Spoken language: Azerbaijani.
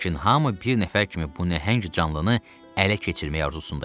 Lakin hamı bir nəfər kimi bu nəhəng canlıını ələ keçirmək arzusunda idi.